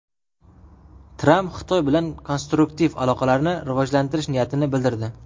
Tramp Xitoy bilan konstruktiv aloqalarni rivojlantirish niyatini bildirdi.